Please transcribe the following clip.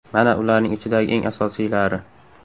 Mana ularning ichidagi eng asosiylari.